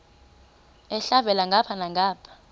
elhavela ngapha nangapha